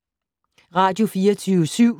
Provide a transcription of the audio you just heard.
Radio24syv